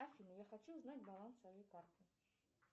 афина я хочу узнать баланс своей карты